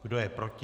Kdo je proti?